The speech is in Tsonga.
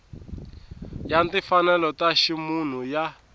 ya timfanelo ta ximunhu ya